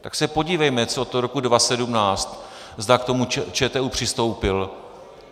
Tak se podívejme, co toho roku 2017, zda k tomu ČTÚ přistoupil.